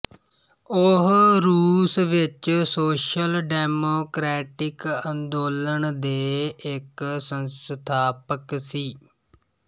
ਉਹ ਰੂਸ ਵਿੱਚ ਸੋਸ਼ਲ ਡੈਮੋਕ੍ਰੈਟਿਕ ਅੰਦੋਲਨ ਦੇ ਇੱਕ ਸੰਸਥਾਪਕ ਸੀ